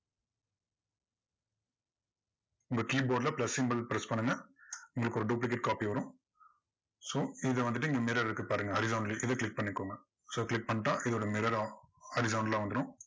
இந்த keyboard ல press symbol press பண்ணுங்க. உங்களுக்கொரு duplicate copy வரும் so இதுல வந்துட்டு இங்க mirror இருக்கு பாருங்க horizontally இதை click பண்ணிக்கோங்க so click பண்ணிட்டா இதோட mirror உம் horizontal லா வந்துரும்.